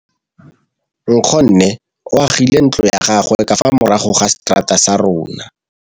Nkgonne o agile ntlo ya gagwe ka fa morago ga seterata sa rona.